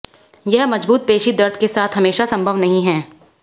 यह मजबूत पेशी दर्द के साथ हमेशा संभव नहीं है